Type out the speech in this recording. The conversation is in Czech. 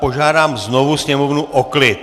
Požádám znovu sněmovnu o klid!